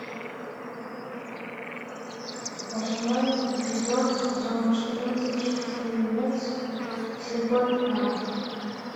восьмой эпизод сезон четырнадцать фильмец слепое пятно